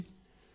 చూడండి